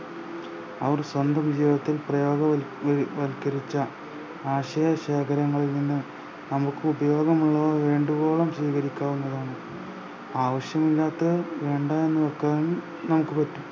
അവർ സ്വന്തം ജീവിതത്തിൽ പ്രയോ വ്‌ വൽക്കരിച്ച ആശയ ശേഖരങ്ങളിൽ നിന്ന് നമുക്കുപയോഗമുള്ളവ വേണ്ടുവോളം സ്വീകരിക്കാവുന്നതാണ് ആവശ്യമില്ലാത്തത് വേണ്ടാന്ന് വെക്കാനും നമുക്ക് പറ്റും